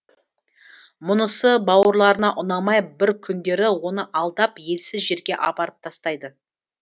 мұнысы бауырларына ұнамай бір күндері оны алдап елсіз жерге апарып тастайды